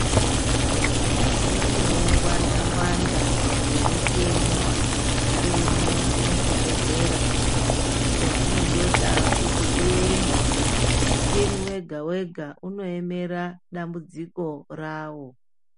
Mune ungwanda ngwanda hwemichini wadzaremwo muzvibhedhlera chezvinondoda kuti uende, muchini wega wega unoemera dambudziko rawo